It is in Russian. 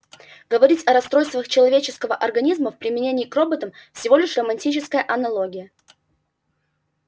говорить о расстройствах человеческого организма в применении к роботам всего лишь романтическая аналогия